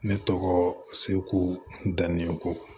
Ne tɔgɔ seku dan ne ko